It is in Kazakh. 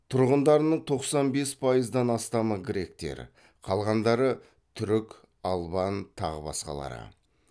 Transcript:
тұрғындарының тоқсан бес пайыздан астамы гректер қалғандары түрік албан тағы басқалары